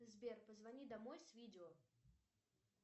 сбер позвони домой с видео